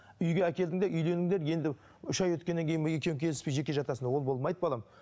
үйге әкелдің де үйлендіңдер енді үш айдан өткеннен кейін екеуің келіспей жеке жатасыңдар ол болмайды балам